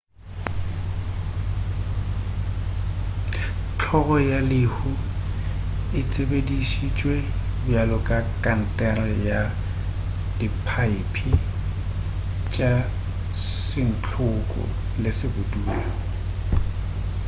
hlolo ya lehu e tsebešitšwe bjalo ka kankere ya diphaepe tša santlhoko le sebudula.